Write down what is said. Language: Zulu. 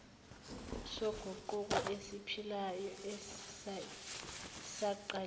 soguquko esiphilayo esesiqalile